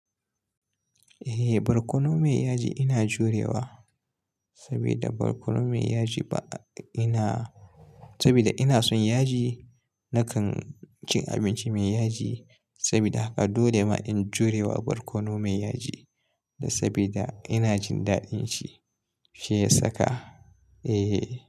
Eh, barkono mai yaji ina jurewa sabida barkono mai yaji ba ina-- sabida ina son yaji. Nakan cin abinci mai yaji sabida haka dole ma in jurewa barkono mai yaji sabida ina jin daɗin shi, shi ya saka. Eh.